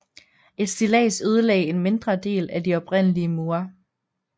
Et stillads ødelagde en mindre del af de oprindelige mure